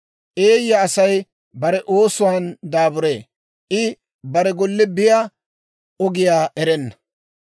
Eeyya Asay bare oosuwaan daaburee; I bare golle biyaa ogiyaa erenna.